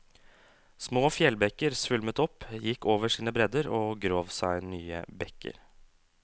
Små fjellbekker svulmet opp, gikk over sine bredder og grov seg nye bekker.